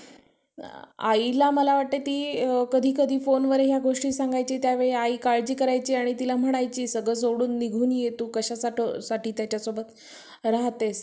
आईला मला वाटतंय ती कधी कधी phone वर या गोष्टी सांगायची त्यावेळी आई काळजी करायची आणि तिला म्हणायची सगळं सोडून निघून ये हे तू कशासाठ कशासाठी त्याच्यासोबत राहतेस.